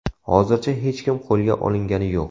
Hozircha hech kim qo‘lga olingani yo‘q.